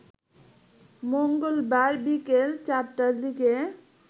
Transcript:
মঙ্গলবার বিকেল ৪টার দিকে